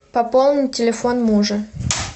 пополнить телефон мужа